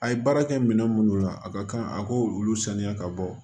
A ye baara kɛ minɛn minnu na a ka kan a k'olu saniya ka bɔ